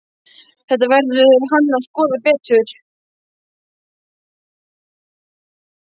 Þetta verður hann að skoða betur.